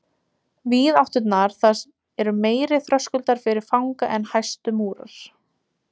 Víðátturnar þar eru meiri þröskuldur fyrir fanga en hæstu múrar.